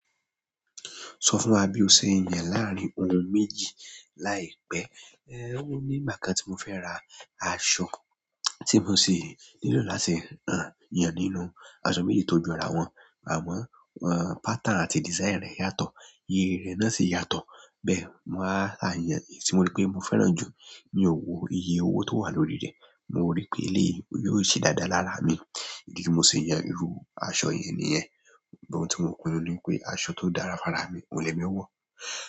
Sọ fún wá bí o ṣe ń yàn láàárín ohun méjì láìpẹ́. Ehn, ó ní nígbà kan tí mo fẹ́ ra aṣọ, tí mo sì nílò láti rán, yàn nínú aṣọ méjì tó jọra wọn, àmọ́ wọ́n pattern àti design rẹ̀ yàtọ̀, rírí rẹ̀ náà sì yàtọ̀ bẹ́ẹ̀, wàá a yàn èyí tí mo rí pé mo fẹ́ràn jù. Mí ò wò, iye owó tó wà lórí rẹ̀, mo rí pé eléyìí òun yóò ṣe dáadáa lára mi. Idí tí mo ṣe yàn irú aṣọ yẹn nìyẹn. But, oun tí mo pinu ni pé aṣọ tó dára fára mí, òun lèmi ó wọ́.